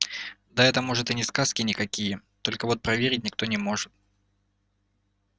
да это может и не сказки никакие только вот проверить никто не может